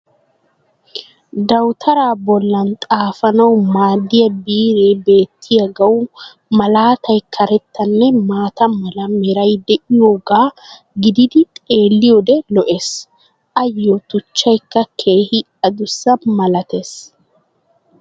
Dawutaraa bollan xaafanawu maadiya biree beetiyagawu malaatay karettanne maata mala meray de'iyogaa gididi xeeliyoode lo'ees. Ayoo tuchchaykka keehi adusssa malatees.